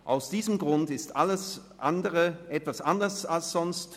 Aus diesem Grund ist alles etwas anders als sonst.